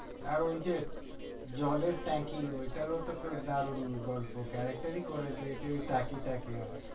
আর ওইযে জলের ট্যাংকি ওইটারও তো খুব দারুন গল্প character ই করে দিয়েছে ওই টাকি টাকি